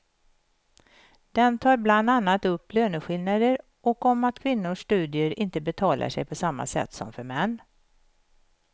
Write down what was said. Den tar bland annat upp löneskillnader och om att kvinnors studier inte betalar sig på samma sätt som för män.